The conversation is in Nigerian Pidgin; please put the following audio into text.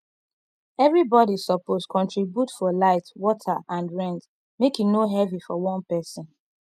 everybody suppose contribute for light water and rent make e no heavy for one person